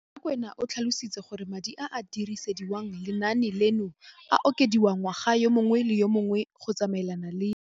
Rakwena o tlhalositse gore madi a a dirisediwang lenaane leno a okediwa ngwaga yo mongwe le yo mongwe go tsamaelana le